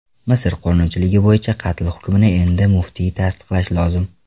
Misr qonunchiligi bo‘yicha, qatl hukmini endi muftiy tasdiqlashi lozim.